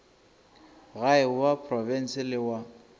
gae wa profense le wa